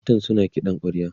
matan suna kiɗan kwarya